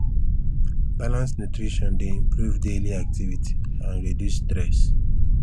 balanced nutrition dey improve daily activity and reduce stress